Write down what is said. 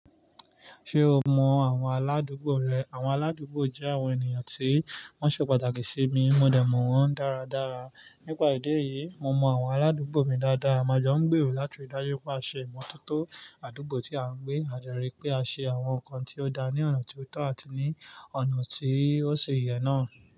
Ṣé o mọ àwọn aládùúgbò rẹ? Àwọn aládùúgbò jẹ́ àwọn ènìyàn tí wọ́n ṣe pàtàkì sí mi, mo dẹ̀ mọ wọ́n dáradára. Nípa ìdí èyí, mo mọ àwọn aládùúgbò mi dáadáa, a máa jọ ń gbèrò láti ri ì dájú pé a ṣe ìmọ́tótó àdúgbò tí a ń gbé, a dẹrí pé a ṣe àwọn nǹkan tí ó da ní ọ̀nà tí ó tọ́ àti ní ọ̀nà tí ó ṣe yẹ náà.